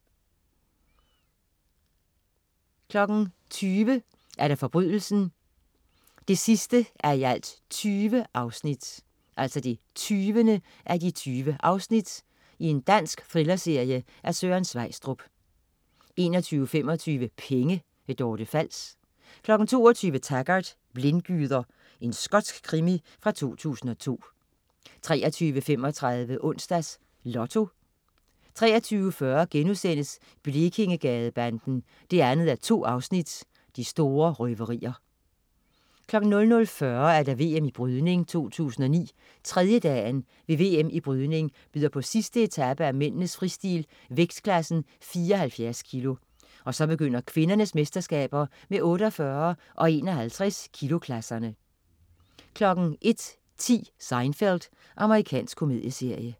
20.00 Forbrydelsen 20:20. Dansk thrillerserie af Søren Sveistrup 21.25 Penge. Dorte Fals 22.00 Taggart: Blindgyder. Skotsk krimi fra 2002 23.35 Onsdags Lotto 23.40 Blekingegadebanden 2:2. De store røverier* 00.40 VM Brydning 2009. Tredjedagen ved VM i brydning byder på sidste etape af mændenes fristil: vægtklassen 74 kg. Og så begynder kvindernes mesterskaber med 48 og 51 kg-klasserne 01.10 Seinfeld. Amerikansk komedieserie